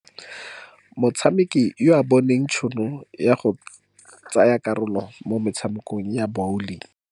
Motshameki ya o bone tšhono ya go tsaya karolo mo motshamekong wa bawling.